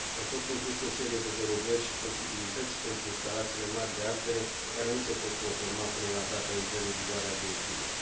Au fost incluse o serie de derogări și flexibilități pentru instalațiile mari de ardere care nu se pot conforma până la data intrării în vigoare a directivei.